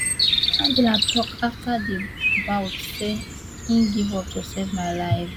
angela tok afta di bout say im give up to save my life